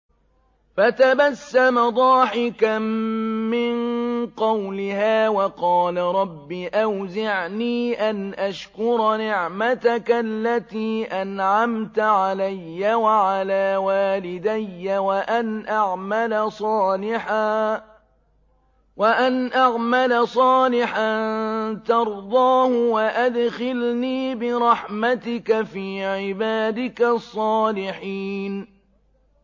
فَتَبَسَّمَ ضَاحِكًا مِّن قَوْلِهَا وَقَالَ رَبِّ أَوْزِعْنِي أَنْ أَشْكُرَ نِعْمَتَكَ الَّتِي أَنْعَمْتَ عَلَيَّ وَعَلَىٰ وَالِدَيَّ وَأَنْ أَعْمَلَ صَالِحًا تَرْضَاهُ وَأَدْخِلْنِي بِرَحْمَتِكَ فِي عِبَادِكَ الصَّالِحِينَ